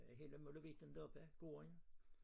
Hele molevitten deroppe gården